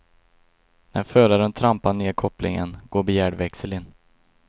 När föraren trampar ned kopplingen, går begärd växel in.